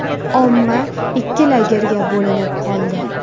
Omma ikki lagerga bo‘linib qoldi.